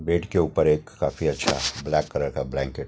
bed के ऊपर एक काफी अच्छा ब्लैक कलर का ब्लैंकेट --